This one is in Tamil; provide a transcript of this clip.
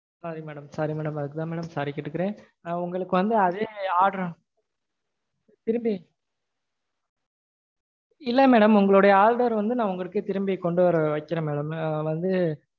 sorry madam sorry madam அதுக்குதா madam sorry கேட்டுக்கறேன். நா உங்களுக்கு வந்து அதே order அ திரும்பி, இல்ல madam உங்களோட order வந்து நா உங்களுக்கே திரும்பி கொண்டுவர வைக்கறேன் madam வந்து